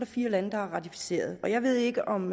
fire lande der har ratificeret jeg ved ikke om